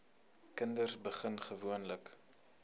kinders begin gewoonlik